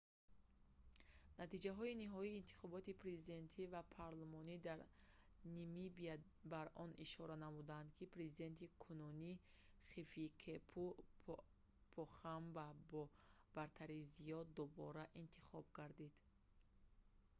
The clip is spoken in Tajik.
натиҷаҳои ниҳоии интихоботи президентӣ ва парлумонӣ дар намибия бар он ишора намуданд ки президенти кунунӣ хификепунье похамба бо бартарии зиёд дубора интихоб гардид